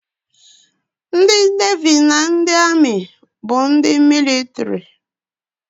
Ndị Nevi na ndị Amị bụ ndị mịlịtrị